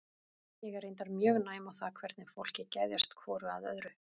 Ég er reyndar mjög næm á það hvernig fólki geðjast hvoru að öðru.